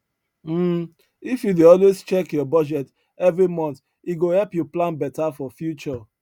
um if you dey always check your budget every month e go help you plan better for future